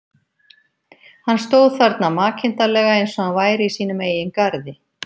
Hann stóð þarna makindalega eins og hann væri í sínum eigin garði.